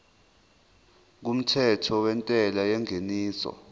kumthetho wentela yengeniso